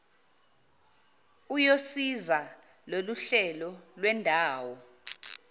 uyosiza loluhlelo lwendawo